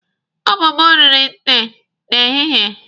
Ụmụ m riri nte n'ehihie.